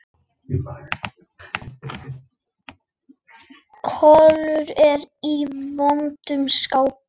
Kolur er í vondu skapi.